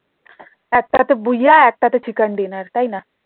একটা তে বুইয়া একটা তে chicken dinner তাইনা?